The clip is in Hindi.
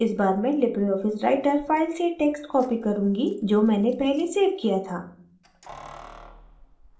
इस बार मैं लिबरे ऑफिस writer फाइल से text copy करुँगी जो मैंने पहले सेव किया था